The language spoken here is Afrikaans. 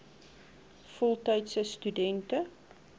voltydse stu dente